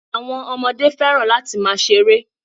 Àwọn ọmọdé fẹ́ràn láti máa ṣeré.